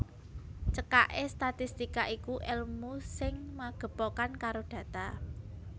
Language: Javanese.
Cekaké statistika iku èlmu sing magepokan karo data